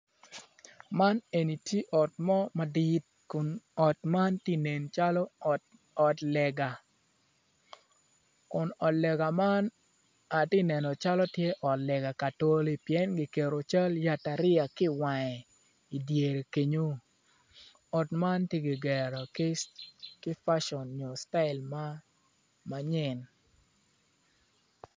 Man eni tye ot mo madit kun ot eni tye ka nencalo ot lega kun olega man ty ek anen calo ot lega oa katolipien atye kaneno cal yataria i wange i dyere kenyo otma tye kigero kicital ma nyen.